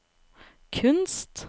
kunst